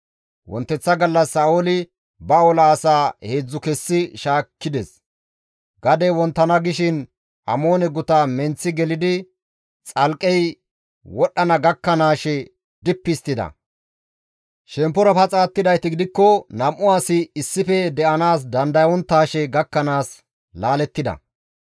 Wonteththa gallas Sa7ooli ba ola asaa heedzdzu kessi shaakkides; gadey wonttana gishin Amoone guta menththi gelidi xalqqey wodhdhana gakkanaashe dippi histtida; shemppora paxa attidayti gidikko nam7u asi issife de7anaas dandayonttaashe gakkanaas laalettida.